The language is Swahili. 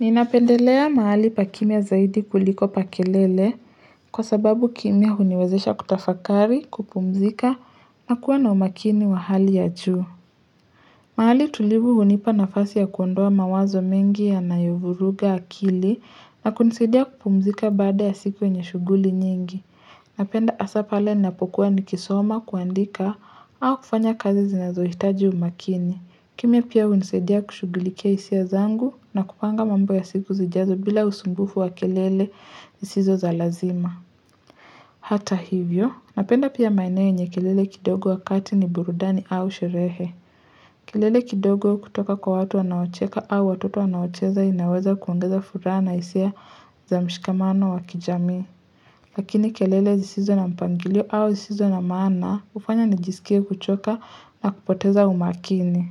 Ninapendelea mahali pa kimya zaidi kuliko pa kelele kwa sababu kimya huniwezesha kutafakari, kupumzika, na kuwa na umakini wa hali ya juu. Mahali tulivu hunipa nafasi ya kuondoa mawazo mengi yanayovuruga akili na kunisidia kupumzika baada ya siku yenye shughuli nyingi. Napenda asaa pale ninapokuwa nikisoma kuandika au kufanya kazi zinazohitaji umakini. Kimya pia unisaidia kushughulikia isia zangu na kupanga mambo ya siku zijazo bila usumbufu wa kelele zisizo za lazima. Hata hivyo, napenda pia maeneo yenye kelele kidogo wakati ni burudani au sherehe. Kelele kidogo kutoka kwa watu wanaocheka au watoto wanaocheza inaweza kuongeza furaha na isia za mshikamano wa kijamii. Lakini kelele zisizo na mpangilio au zisizo na maana ufanya nijisikie kuchoka na kupoteza umakini.